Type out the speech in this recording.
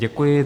Děkuji.